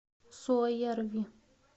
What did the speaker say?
суоярви